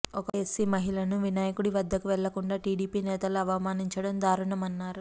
ఒక ఎస్సీ మహిళను వినాయకుడి వద్దకు వెళ్లకుండా టీడీపీ నేతలు అవమానించడం దారుణమన్నారు